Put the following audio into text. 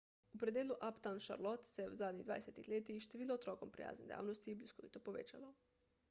v predelu uptown charlotte se je v zadnjih 20 letih število otrokom prijaznih dejavnosti bliskovito povečalo